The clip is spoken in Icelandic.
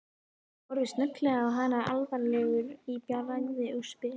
Ég horfi snögglega á hana alvarlegur í bragði og spyr